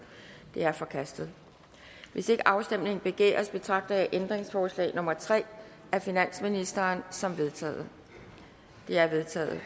det er forkastet hvis ikke afstemning begæres betragter jeg ændringsforslag nummer tre af finansministeren som vedtaget det er vedtaget